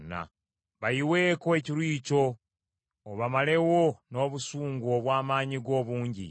Bayiweeko ekiruyi kyo, obamalewo n’obusungu obw’amaanyi go obungi.